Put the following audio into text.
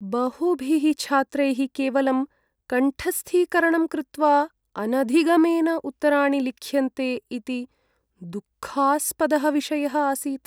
बहुभिः छात्रैः केवलं कण्ठस्थीकरणं कृत्वा अनधिगमेन उत्तराणि लिख्यन्ते इति दुःखास्पदः विषयः आसीत्।